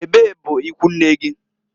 Ebee bụ ikwunne gi?